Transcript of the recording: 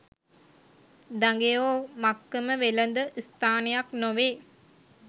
දඟයෝ මක්කම වෙළඳ ස්ථානයක් නොවේ